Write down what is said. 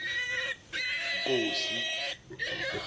nkosi